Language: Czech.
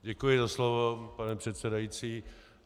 Děkuji za slovo, pane předsedající.